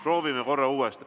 Proovime korra uuesti.